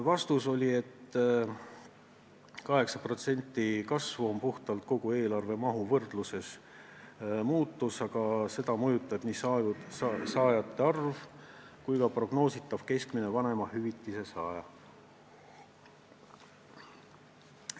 Vastus: 8% kasvu on muutus kogu eelarve mahu võrdluses, aga seda mõjutab nii saajate arv kui ka prognoositav keskmine vanemahüvitise saaja.